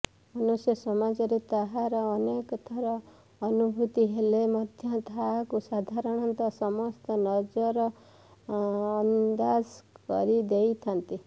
ମନୁଷ୍ୟ ସମାଜରେ ତାହାର ଅନେକ ଥର ଅନୁଭୂତି ହେଲେ ମଧ୍ୟ ତାହାକୁ ସାଧାରଣତଃ ସମସ୍ତେ ନଜରଅନ୍ଦାଜ କରିଦେଇଥାନ୍ତି